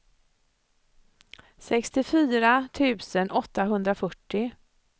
sextiofyra tusen åttahundrafyrtio